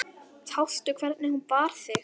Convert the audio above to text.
Sástu hvernig hún bar sig.